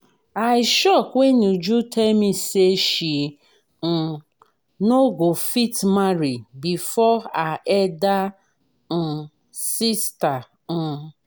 i shock wen uju tell me say she um no go fit marry before her elder um sister um